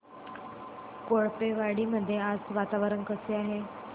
कोळपेवाडी मध्ये आज वातावरण कसे आहे